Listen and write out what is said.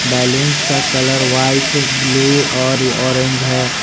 Balloons का colour white blue और orange है।